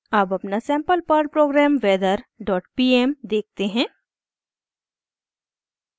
अब अपना sample Perl program weather dot pm देखते हैं